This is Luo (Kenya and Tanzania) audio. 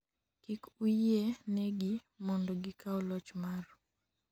kik uyie negi mondo gikaw loch maru